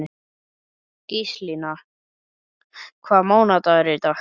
Gíslína, hvaða mánaðardagur er í dag?